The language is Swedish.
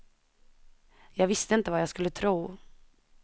Jag visste inte vad jag skulle tro.